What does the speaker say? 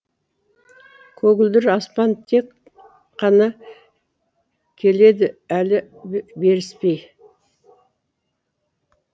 көгілдір аспан тек қана келеді әлі беріспей